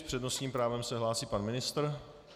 S přednostním právem se hlásí pan ministr.